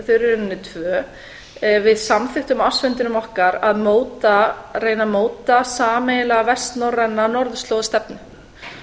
eru í rauninni tvö við samþykktum á ársfundinum okkar að reyna að móta sameiginlega vestnorræna norðurslóðastefnu